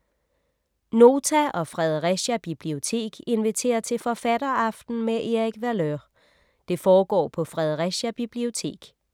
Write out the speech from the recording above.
Nota og Fredericia Bibliotek inviterer til forfatteraften med Erik Valeur. Det foregår på Fredericia Bibliotek.